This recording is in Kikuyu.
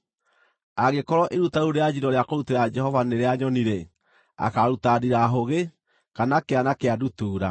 “ ‘Angĩkorwo iruta rĩu rĩa njino rĩa kũrutĩra Jehova nĩ rĩa nyoni-rĩ, akaaruta ndirahũgĩ, kana kĩana kĩa ndutura.